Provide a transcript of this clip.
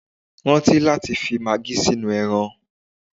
Rántí láti fi magí sínú ẹran